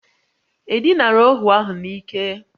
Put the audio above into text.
E dinara ohu ahụ n'ike?